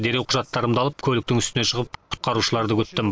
дереу құжаттарымды алып көліктің үстіне шығып құтқарушыларды күттім